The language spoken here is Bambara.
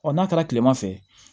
Ɔ n'a taara kilema fɛ